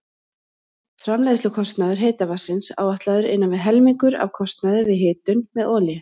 Framleiðslukostnaður heita vatnsins áætlaður innan við helmingur af kostnaði við hitun með olíu.